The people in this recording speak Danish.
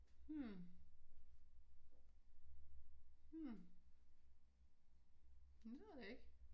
Hm hm jamen det ved jeg ikke